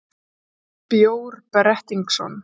Bjór Brettingsson,